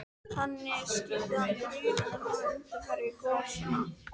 Þannig skýrði hann drunurnar sem væru undanfari gosanna.